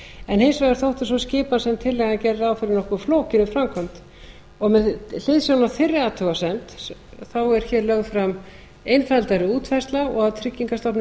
en hins vegar þótti sú skipan sem tillagan gerði ráð fyrir nokkuð flókin í framkvæmd með hliðsjón af þeirri athugasemd er hér lögð fram einfaldari útfærsla og að tryggingastofnun